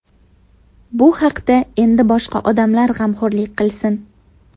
Bu haqda endi boshqa odamlar g‘amxo‘rlik qilsin.